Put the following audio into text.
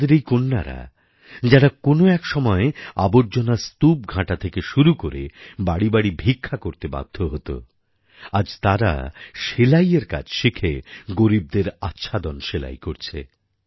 আমাদের এই কন্যারা যারা কোনো এক সময় আবর্জনার স্তূপ ঘাঁটা থেকে শুরু করে বাড়িবাড়ি ভিক্ষা করতে বাধ্য হত আজ তারা সেলাইয়ের কাজ শিখে গরীবদের আচ্ছাদন সেলাই করছে